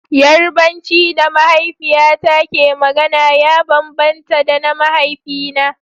Yarbanci da mahaifiyata ke magana ya bambanta da na mahaifina.